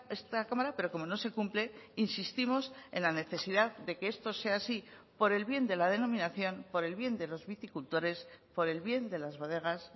esta cámara pero como no se cumple insistimos en la necesidad de que esto sea así por el bien de la denominación por el bien de los viticultores por el bien de las bodegas